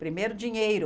Primeiro dinheiro.